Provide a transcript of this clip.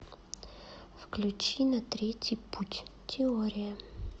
включи на третий путь теория